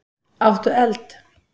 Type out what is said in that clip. Áttu eld?